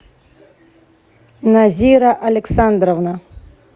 назира александровна